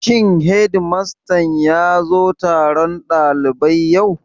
Shin hedimastan ya zo taron ɗalibai yau?